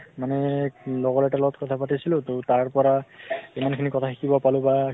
মানে লগৰ এটাৰ লগত কথা পাতিছিলো তো তাৰ পৰা, ইমান খিনি কথা শিকিব পালো বা